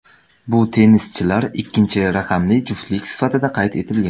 Bu tennischilar ikkinchi raqamli juftlik sifatida qayd etilgan.